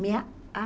Minha